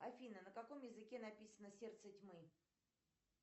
афина на каком языке написано сердце тьмы